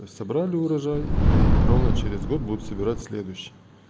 собрали урожай и ровно через год будут собирать в следующем